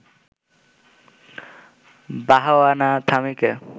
বাহাওয়ানা থামিকে